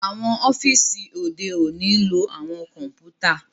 Awọn ọfiisi ode oni ń lo awọn kọǹpútà